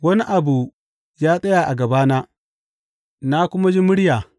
Wani abu ya tsaya a gabana, na kuma ji murya.